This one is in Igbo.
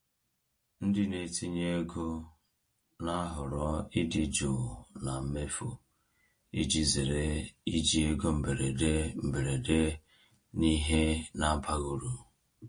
Ndị na-etinye ego na-ahọrọ ịdị jụụ na mmefu iji zere iji ego mberede mberede n’ihe na-abaghị uru.